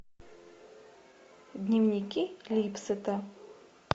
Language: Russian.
дневники липсетта